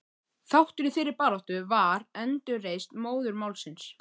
Þáttur í þeirri baráttu var endurreisn móðurmálsins.